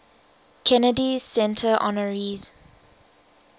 kennedy center honorees